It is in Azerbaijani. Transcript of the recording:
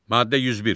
Maddə 101.